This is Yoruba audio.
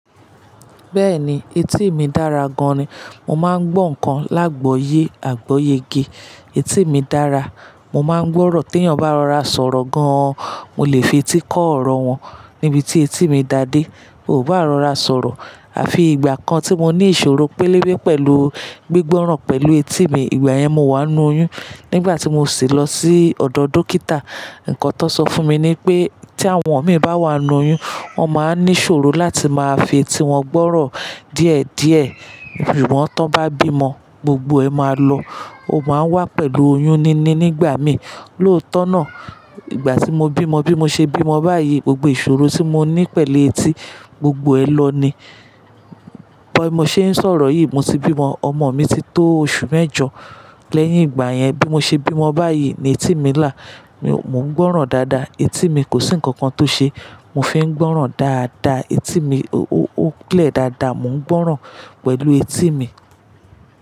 Bẹ́ẹ̀ni, etí mi dára gan-an ni. Mo máa ń gbọ́ nǹkan lágbòye, àgbóyege. Etí mi dára. Mo máa ń gbọ́rọ̀ tí èèyàn bá rọra sọ̀rọ̀ gan-an, mo lè fi etí kọ́ ọ̀rọ̀ wọn nibi tí etí mi dadé. Bí o bá rọra sọ̀rọ̀. Àfi ìgbà kan tí mo ní ìṣòro pélébé pẹ̀lú gbígbọ́ràn pẹ̀lú etí mi. Ìgbà yẹn, mo wá ń nu oyún. Nígbà tí mo sì lọ sí ọ̀dọ̀ dókítà, nǹkan tó sọ fún mi ni pé tí àwọn ọmọ mi bá wà nu oyún, wọ́n máa ní ìṣòro láti máa fi etí wọn gbọ́rọ̀ díẹ̀ díẹ̀. Sugbon tọ́ bá bí mọn, gbogbo ẹ máa lọ. Ó máa wà pẹ̀lú oyún ni ni nígbà míì. Lóòótọ́ náà, ìgbà tí mo bí ọmọ bí mo ṣe bí mọn báyìí, gbogbo ìṣòro tí mo ní pẹ̀lú etí, gbogbo ẹ lọ ni. Kọ́ ẹ́ mo ṣe ń sọ̀rọ̀ yìí, mo ti bí ọmọ, ọmọ mi ti tó oṣù mẹ́jọ. Lẹ́yìn ìgbà yẹn bí mo ṣe bí wọn báyìí ni etí mi là. Mo ń gbọ́ràn dáadáa, etí mi kò sí nǹkan kan tó ṣe. Mo fi ń gbọ́ràn dáadáa, etí mi ó lẹ̀ dáadáa, mo ń gbọ́ràn pẹ̀lú etí mi.